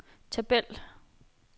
tabel